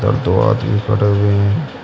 दो आदमी खड़े हुए हैं।